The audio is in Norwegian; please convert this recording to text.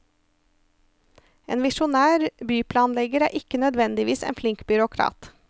En visjonær byplanlegger er ikke nødvendigvis en flink byråkrat.